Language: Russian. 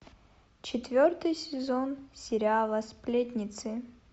четвертый сезон сериала сплетницы